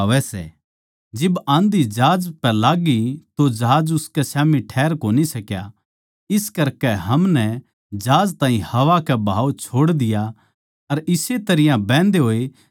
जिब आँधी जहाज पै लाग्गी तो जहाज उसकै स्याम्ही ठैहर कोनी सक्या इस करकै हमनै जहाज ताहीं हवा के बाहाव छोड़ दिया अर इस्से तरियां बहन्दे होए चाल्ले गये